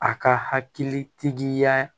A ka hakilitigiya